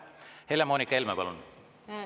Helle-Moonika Helme, palun!